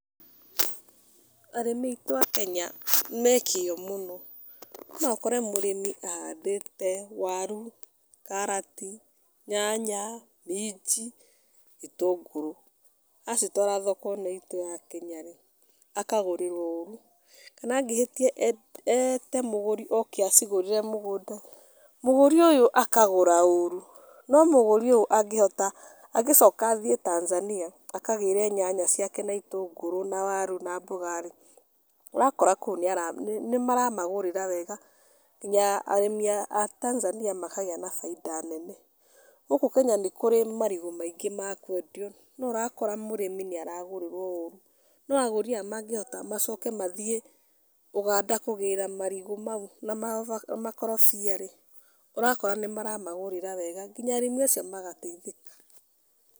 Arĩmi aitũ a Kenya me kĩo mũno, no ũkore mũrĩmi ahandĩte waru, karati, nyanya, minji, gĩtũngũrũ. Acitwara thoko nĩi tũrakinya-rĩ, akagũrĩrwo ũru, kana angĩhĩtia ete mũgũri oke acigũrĩre mũgũnda, mũgũri ũyũ akagũra ũru. No mũrĩmi ũyũ angĩhota, angĩcoka athiĩ Tanzania akagĩre nyanya ciake na itũngũrũ na waru na mboga-rĩ, ũrakora kũu nĩara nĩmaramagũrĩra wega, kinya arĩmi a Tanzania makagĩa bainda nene. Gũkũ Kenya nĩ kũrĩ marigũ maingĩ ma kwendio, no ũrakora mũrĩmi nĩaragũrĩrwo ũru. No agũri aya mangĩhota macoke mathiĩ Ũganda kũgĩra marigũ mau na makorobia-rĩ, ũrakora nĩmaramagũrĩra wega kinya arĩmi acio magateithĩka.